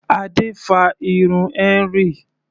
Adé fa irun Henry.